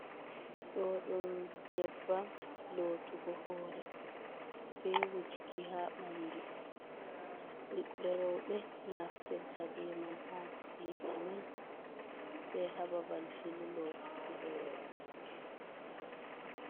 Ɗo ɗum nyebbam lotugo hore, be wujuki ha banɗu. Bibe rowbe naftirta be man ha ci'ejiman, be ha babal filu lotuki hore.